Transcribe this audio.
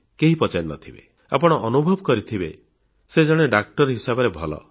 କେହି ପଚାରି ନଥିବେ ଆପଣ ଅନୁଭବ କରିଥିବେ ସେ ଜଣେ ଡାକ୍ତର ହିସାବରେ ଭଲ